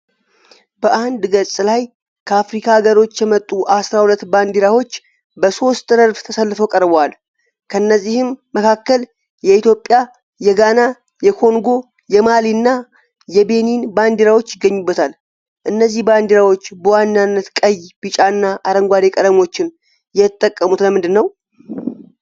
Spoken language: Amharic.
በአንድ ገጽ ላይ ከአፍሪካ አገሮች የመጡ አስራ ሁለት ባንዲራዎች በሦስት ረድፍ ተሰልፈው ቀርበዋል። ከእነዚህም መካከል የኢትዮጵያ፣ የጋና፣ የኮንጎ፣ የማሊ እና የቤኒን ባንዲራዎች ይገኙበታል። እነዚህ ባንዲራዎች በዋናነት ቀይ፣ ቢጫ እና አረንጓዴ ቀለሞችን የተጠቀሙት ለምንድን ነው?